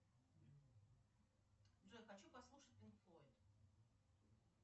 джой хочу послушать пинк флойд